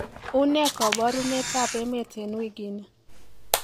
unee koborunet ab emet en wigini